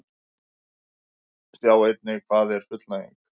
Sjá einnig: Hvað er fullnæging?